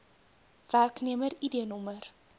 werknemer id nr